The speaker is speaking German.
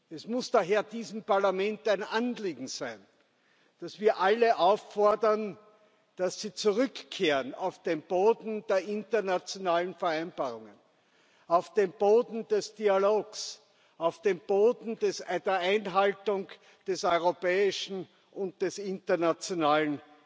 Es muss daher diesem Parlament ein Anliegen sein, dass wir alle auffordern, dass sie zurückkehren auf den Boden der internationalen Vereinbarungen, auf den Boden des Dialogs, auf den Boden der Einhaltung des europäischen und des internationalen